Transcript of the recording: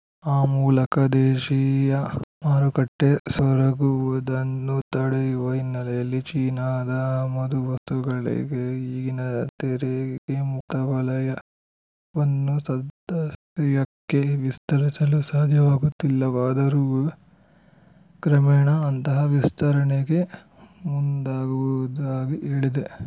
ಆ ಮೂಲಕ ದೇಶೀಯ ಮಾರುಕಟ್ಟೆ ಸೊರಗುವುದನ್ನು ತಡೆಯುವ ಹಿನ್ನೆಲೆಯಲ್ಲಿ ಚೀನಾದ ಆಮದು ವಸ್ತುಗಳಿಗೆ ಈಗಿನ ತೆರಿಗೆಮುಕ್ತ ವಲಯವನ್ನು ಸದ್ಯಕ್ಕೆ ವಿಸ್ತರಿಸಲು ಸಾಧ್ಯವಾಗುತ್ತಿಲ್ಲವಾದರೂ ಕ್ರಮೇಣ ಅಂತಹ ವಿಸ್ತರಣೆಗೆ ಮುಂದಾಗುವುದಾಗಿ ಹೇಳಿದೆ